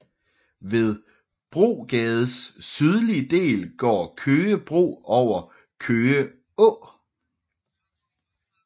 Ved Brogades sydlige del går Køge Bro over Køge Å